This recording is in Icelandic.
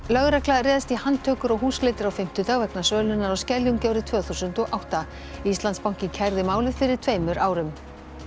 Lögregla réðst í handtökur og húsleitir á fimmtudag vegna sölunnar á Skeljungi árið tvö þúsund og átta Íslandsbanki kærði málið fyrir tveimur árum